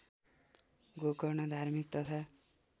गोकर्ण धार्मिक तथा